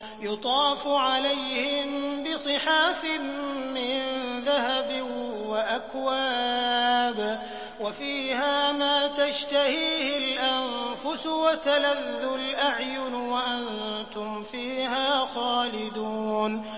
يُطَافُ عَلَيْهِم بِصِحَافٍ مِّن ذَهَبٍ وَأَكْوَابٍ ۖ وَفِيهَا مَا تَشْتَهِيهِ الْأَنفُسُ وَتَلَذُّ الْأَعْيُنُ ۖ وَأَنتُمْ فِيهَا خَالِدُونَ